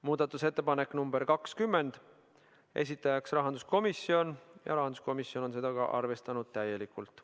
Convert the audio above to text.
Muudatusettepanek nr 20, esitajaks on rahanduskomisjon ja ka seda on arvestatud täielikult.